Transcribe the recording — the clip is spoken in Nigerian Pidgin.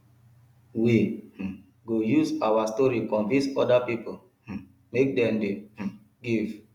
we um go use our story convince oda pipo um make dem dey um give